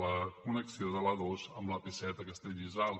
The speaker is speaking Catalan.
la connexió de l’a dos amb l’ap set a castellbisbal